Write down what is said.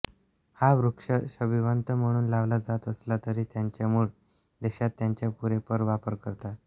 हा वृक्ष शोभिवंत म्हणून लावला जात असला तरी त्याच्या मूळ देशात त्याचा पुरेपूर वापर करतात